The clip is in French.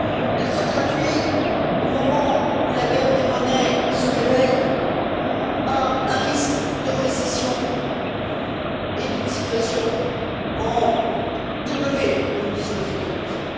Elle se traduit au moment où la guerre des monnaies se réveille par un risque de récession et d'une situation en W, comme disent nos économistes.